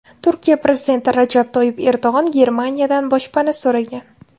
Turkiya prezidenti Rajab Toyyib Erdo‘g‘on Germaniyadan boshpana so‘ragan.